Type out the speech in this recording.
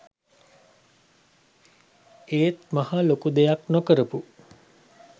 ඒත් මහා ලොකු දෙයක් නොකරපු